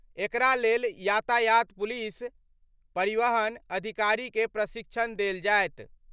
एकरा लेल यातायात पुलिस, परिवहन अधिकारी के प्रशिक्षण देल जायत।